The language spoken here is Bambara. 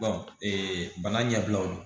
bana ɲɛbilaw la